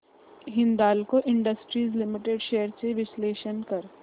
Hindalco industries limited shares चे विश्लेषण कर